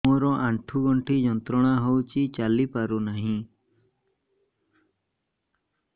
ମୋରୋ ଆଣ୍ଠୁଗଣ୍ଠି ଯନ୍ତ୍ରଣା ହଉଚି ଚାଲିପାରୁନାହିଁ